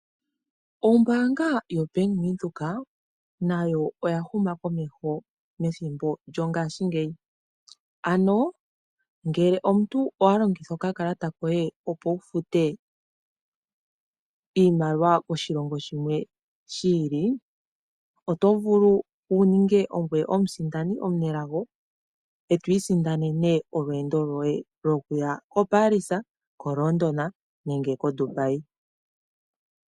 Ombanga yo Bank Windhoek nawo oya huma komeho methimbo lyongashingeyi ano ngele omuntu owa longitha okakalata koye opo wufute iimaliwa koshilongo shimwe shiili, oto vulu wu ninge ongoye omusindani omunelago etwi sindanene olweendo loye lokuya ko Paris, ko London nenge ko Dubai.